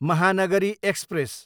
Mahanagari express